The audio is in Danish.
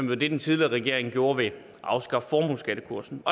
var det den tidligere regering gjorde ved at afskaffe formueskattekursen